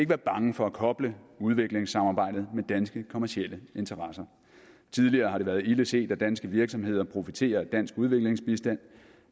være bange for at koble udviklingssamarbejdet med danske kommercielle interesser tidligere har det været ilde set at danske virksomheder profiterer af dansk udviklingsbistand